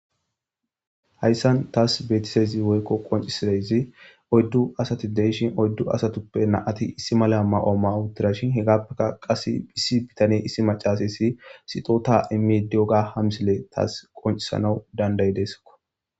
hayssan taas beetisezi woykko qoncisidayzi oyddu asati deyishin oyddu asatuppe naati issi mala ma7o ma7utirashin hegappeka qas hisi bitane issi macasa issi sixota immi dioga hamsile taas qoncisanawu dandayi deeskko